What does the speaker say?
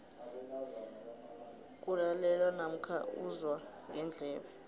kulalelwa namkha uzwa ngendlebe